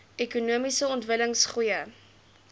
ekonomiese ontwikkeling goeie